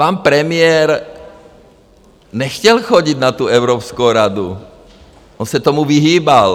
Pan premiér nechtěl chodit na tu Evropskou radu, on se tomu vyhýbal.